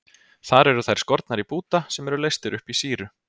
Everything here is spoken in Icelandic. Þar eru þær skornar í búta sem eru leystir upp í sýru.